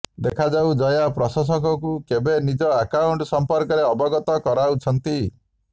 ଦେଖାଯାଉ ଜୟା ପ୍ରଶଂସକଙ୍କୁ କେବେ ନିଜ ଆକାଉଣ୍ଟ ସମ୍ପର୍କରେ ଅବଗତ କରାଉଛନ୍ତି